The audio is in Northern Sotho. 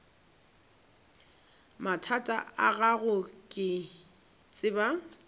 mathata a gago ke tseba